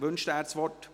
Wünscht er das Wort?